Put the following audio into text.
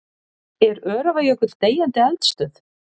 Er Öræfajökull deyjandi eldstöð?